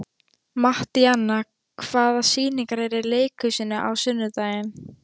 Mattíana, hvaða sýningar eru í leikhúsinu á sunnudaginn?